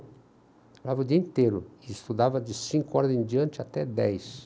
Trabalhava o dia inteiro e estudava de cinco horas em diante até dez.